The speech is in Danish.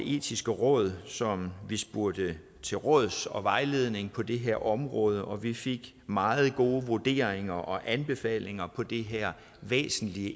etiske råd som vi spurgte til råds og fik vejledning af på det her område og vi fik meget gode vurderinger og anbefalinger om det her væsentlige